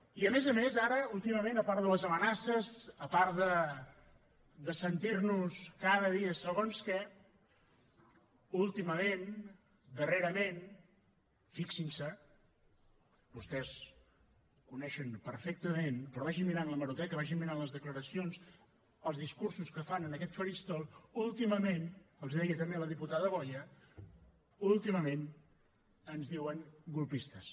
i a més a més ara últimament a part de les amenaces a part de sentir nos cada dia segons què últimament darrerament fixin se vostès coneixen perfectament però vagin mirant l’hemeroteca vagin mirant les declaracions els discursos que fan en aquest faristol últimament els ho deia també la diputada boya ens diuen colpistes